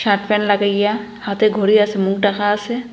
Shirt pant লাগাইয়া হাতে ঘড়ি আসে মুক ঢাকা আসে।